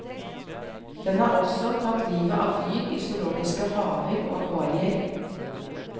Den har også tatt livet av dyr i zoologiske haver og akvarier.